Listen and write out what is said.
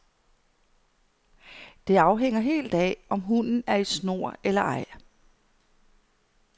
Det afhænger helt af, om hunden er i snor eller ej.